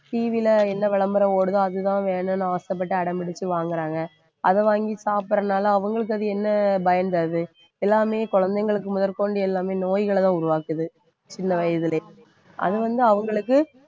TV ல என்ன விளம்பரம் ஓடுதோ அதுதான் வேணுன்னு ஆசைப்பட்டு அடம்பிடிச்சு வாங்கறாங்க அதை வாங்கி சாப்பிடறதுனால அவங்களுக்கு அது என்ன பயன் தருது எல்லாமே குழந்தைகளுக்கு முதற்கொண்டு எல்லாமே நோய்களை தான் உருவாக்குது இந்த வயதிலே அது வந்து அவங்களுக்கு